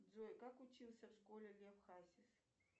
джой как учился в школе лев хасис